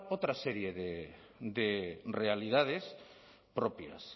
otra serie de realidades propias